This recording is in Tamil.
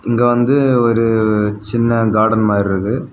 இங்க வந்து ஒரு சின்ன கார்டன் மாறி இருக்கு.